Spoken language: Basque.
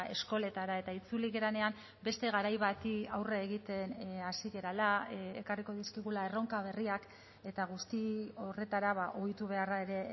eskoletara eta itzuli garenean beste garai bati aurre egiten hasi garela ekarriko dizkigula erronka berriak eta guzti horretara ohitu beharra ere